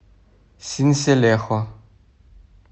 синселехо